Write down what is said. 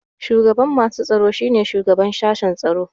Shugaban masu tsaro shine shugaban sashen tsaro.